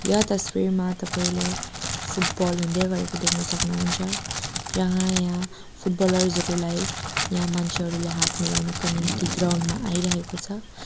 यो तस्बिरमा तपाईँले फुटबल हुँदै गरेको देख्न सक्नुहुन्छ जहाँ यहाँ फुटबलर्स हरूलाई यहाँ मान्छेहरूले हात मिलाउनको निम्ति ग्राउन्ड मा आइरहेको छ।